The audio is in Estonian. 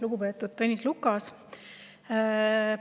Lugupeetud Tõnis Lukas!